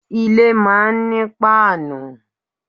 Ilé máa ń ní páànù.